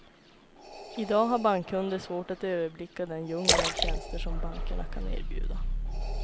I dag har bankkunder svårt att överblicka den djungel av tjänster som bankerna kan erbjuda.